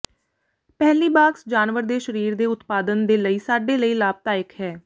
ਪਹਿਲੀ ਬਾਕਸ ਜਾਨਵਰ ਦੇ ਸਰੀਰ ਦੇ ਉਤਪਾਦਨ ਦੇ ਲਈ ਸਾਡੇ ਲਈ ਲਾਭਦਾਇਕ ਹੈ